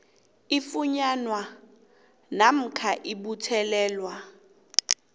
ifunyanwa namkha ibuthelelwa